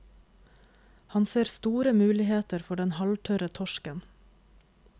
Han ser store muligheter for den halvtørre torsken.